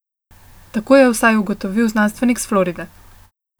Tako je vsaj ugotovil znanstvenik s Floride.